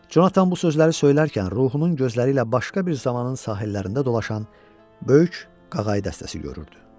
Jonathan bu sözləri söylərkən ruhunun gözləri ilə başqa bir zamanın sahillərində dolaşan böyük qağayı dəstəsi görürdü.